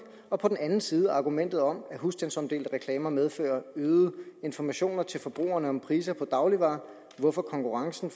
og på den anden side argumentet om at husstandsomdelte reklamer medfører øgede informationer til forbrugerne om priser på dagligvarer hvorfor konkurrencen